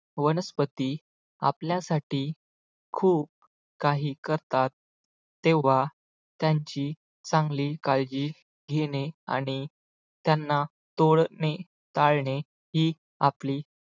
वनस्पती आपल्यासाठी खूप काही करतात तेव्हा त्यांची चांगली काळजी घेणे आणि त्यांना तोडणे टाळणे ही आपली